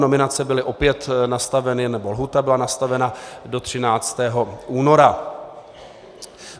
Nominace byly opět nastaveny, nebo lhůta byla nastavena, do 13. února.